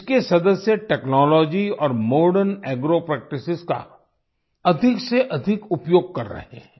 इसके सदस्य टेक्नोलॉजी और मॉडर्न एग्रो प्रैक्टिस का अधिक से अधिक उपयोग कर रहे हैं